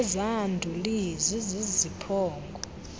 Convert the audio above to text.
ezaa nduli ziziziphongo